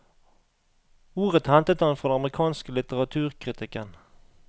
Ordet hentet han fra den amerikanske litteraturkritikken.